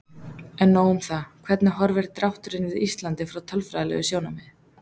En nóg um það, hvernig horfir drátturinn við Íslandi frá tölfræðilegu sjónarmiði?